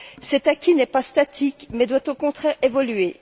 Cet acquis n'est pas statique mais doit au contraire évoluer.